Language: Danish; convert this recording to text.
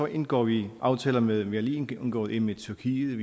indgår vi aftaler med andre vi har lige indgået en med tyrkiet